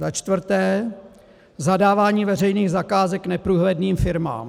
za čtvrté - zadávání veřejných zakázek neprůhledným firmám,